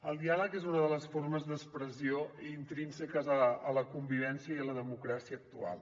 el diàleg és una de les formes d’expressió intrínseques a la convivència i a la democràcia actual